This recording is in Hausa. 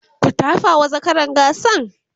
ku tafawa zakaran gasan!